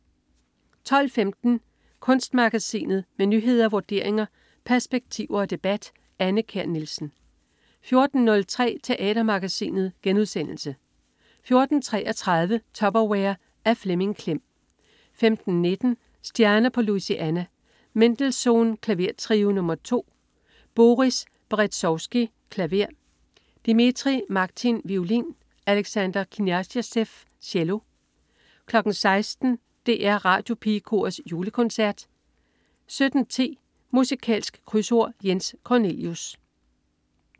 12.15 Kunstmagasinet. Med nyheder, vurderinger, perspektiver og debat. Anne Kjær Nielsen 14.03 Teatermagasinet* 14.33 Tupperware. Af Flemming Klem 15.19 Stjerner på Louisiana. Mendelssohn: Klavertrio nr. 2. Boris Berezovsky, klaver. Dmitri Makhtin, violin. Alexandre Kniazev cello 16.00 DR Radiopigekorets Julekoncert 17.10 Musikalsk Krydsord. Jens Cornelius